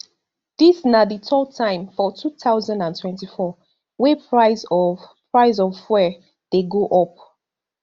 dis na di third time for two thousand and twenty-four wey price of price of fuel dey go up